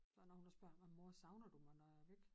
Der når hun har spurgt mig mor savner du mig når jeg er væk